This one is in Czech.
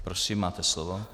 Prosím, máte slovo.